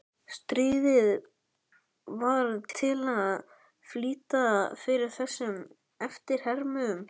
Stríðið varð til að flýta fyrir þessum eftirhermum.